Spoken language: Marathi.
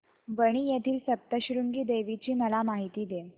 वणी येथील सप्तशृंगी देवी ची मला माहिती दे